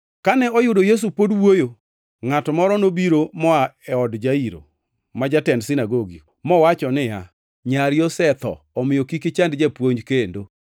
Kane oyudo Yesu pod wuoyo, ngʼato moro nobiro moa e od Jairo, ma jatend sinagogi, mowacho niya, “Nyari osetho, omiyo kik ichand japuonj kendo.”